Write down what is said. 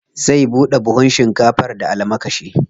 Zai buɗe buhun shinkafar da almakashi.